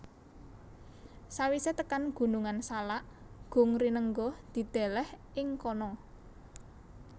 Sawisé tekan Gunungan Salak Gung Rinenggo dideleh ing kono